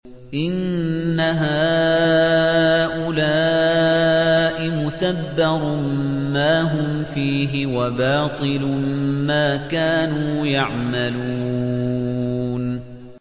إِنَّ هَٰؤُلَاءِ مُتَبَّرٌ مَّا هُمْ فِيهِ وَبَاطِلٌ مَّا كَانُوا يَعْمَلُونَ